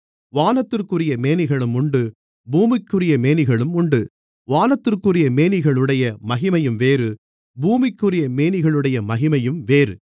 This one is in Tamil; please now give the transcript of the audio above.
வானத்திற்குரிய மேனிகளும் உண்டு பூமிக்குரிய மேனிகளும் உண்டு வானத்திற்குரிய மேனிகளுடைய மகிமையும் வேறு பூமிக்குரிய மேனிகளுடைய மகிமையும் வேறு